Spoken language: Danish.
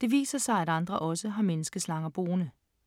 Det viser sig, at andre også har menneske-slanger boende.